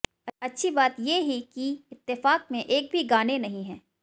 अच्छी बात ये ही कि इत्तेफाक में एक भी गाने नहीं है